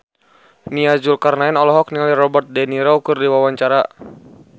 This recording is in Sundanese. Nia Zulkarnaen olohok ningali Robert de Niro keur diwawancara